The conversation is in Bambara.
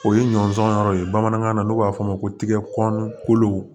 O ye ɲɔnsɔn yɔrɔ ye bamanankan na n'o b'a fɔ a ma ko tigɛ kɔnɔn kolo